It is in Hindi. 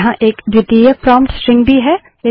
यहाँ एक द्वितीयक प्रोम्प्ट स्ट्रिंग भी है